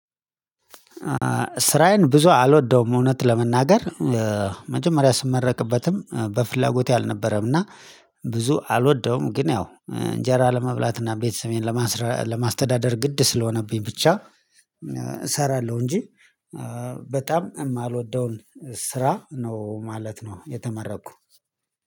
ስራዬን ብዙ አልወደውም እውነት ለመናገር መጀመሪያ ስመረቅበትም በፍላጎት አልነበረም እና ብዙ አልወደውም ግን ያው እንጀራ ለመብላት እና ቤተሰቤን ለማስተዳደር ግድ ስለሆነብኝ ብቻ። እሰራለሁ እንጂ። በጣም የማልወደውን ስራ ነው ማለት ነው የተመረኩ።